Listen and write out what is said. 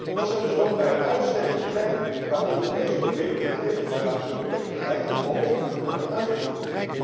Dat zijn dus ook bij uitstek de plekken waar Europese regelgeving, waar Europees beleid landt en moet worden uitgevoerd.